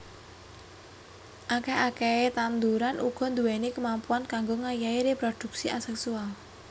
Akèh akèhé tetanduran uga nduwèni kamampuan kanggo ngayahi réprodhuksi asèksual